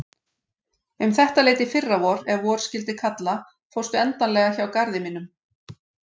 Um þetta leyti í fyrravor ef vor skyldi kalla fórstu endanlega hjá garði mínum.